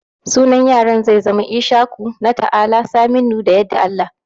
sunan yaran zai zama Ishaku, Nata'ala, Saminu da Yadda Allah